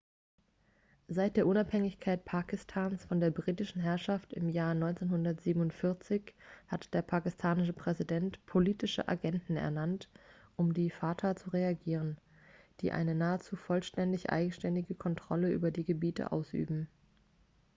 seit der unabhängigkeit pakistans von der britischen herrschaft im jahr 1947 hat der pakistanische präsident politische agenten ernannt um die fata zu regieren die eine nahezu vollständig eigenständige kontrolle über die gebiete ausüben